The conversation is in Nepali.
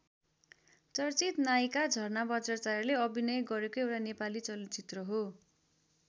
चर्चित नायिका झरना बज्राचार्यले अभिनय गरेको एउटा नेपाली चलचित्र हो।